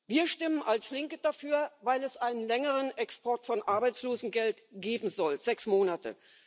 Wir stimmen als Linke dafür, weil es einen längeren Export von Arbeitslosengeld geben soll sechs Monate.